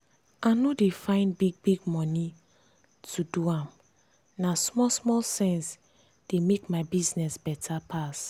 i no dey find big-big money to do am na small small sense dey make my business better pass.